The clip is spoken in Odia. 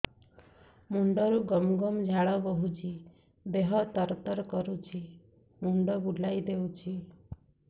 ମୁଣ୍ଡରୁ ଗମ ଗମ ଝାଳ ବହୁଛି ଦିହ ତର ତର କରୁଛି ମୁଣ୍ଡ ବୁଲାଇ ଦେଉଛି